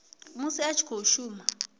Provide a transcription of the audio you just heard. musi a tshi khou shuma